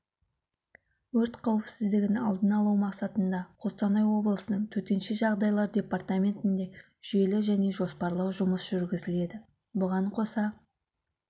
өрт қауіпсіздігін алдын-алу мақсатында қостанай облысының төтенше жағдайлар департаментінде жүйелі және жоспарлы жұмыс жүргізіледі бұған қоса